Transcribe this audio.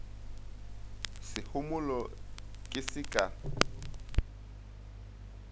se homole ke se ka